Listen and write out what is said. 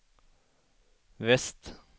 väst